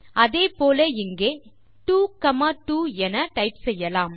அதேபோல இங்கே 22 என டைப் செய்யலாம்